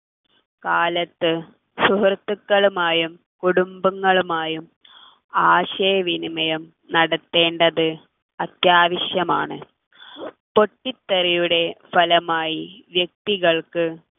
കാലത്ത് സുഹൃത്തുക്കളുമായും കുടുംബങ്ങളുമായും ആശയവിനിമയം നടത്തേണ്ടത് അത്യാവശ്യമാണ് പൊട്ടിത്തെറിയുടെ ഫലമായി വ്യക്തികൾക്ക്